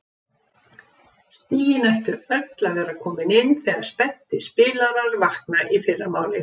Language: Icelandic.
Stigin ættu öll að vera komin inn þegar spenntir spilarar vakna í fyrramálið.